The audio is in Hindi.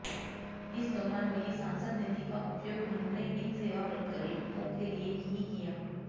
इस दौरान मिली सांसद निधि का उपयोग उन्होंने इन सेवा प्रकल्पों के लिए ही किया